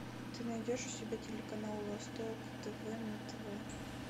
ты найдешь у себя телеканал восток тв на тв